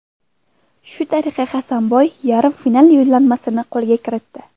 Shu tariqa Hasanboy yarim final yo‘llanmasini qo‘lga kiritdi.